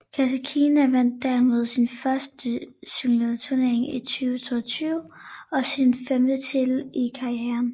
Kasatkina vandt dermed sin første singleturnering i 2022 og sin femte titel i karrieren